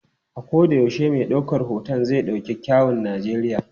A koda yaushe mai daukar hoton zai dauki kyawun Najeriya.